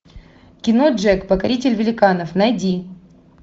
кино джек покоритель великанов найди